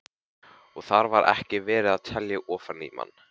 Og þar var ekki verið að telja ofan í mann.